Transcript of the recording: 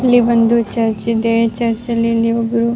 ಇಲ್ಲಿ ಒಂದು ಚರ್ಚ್ ಇದೆಚರ್ಚ್ ಅಲ್ಲಿ ಇಲ್ಲಿ ಒಬ್ರು --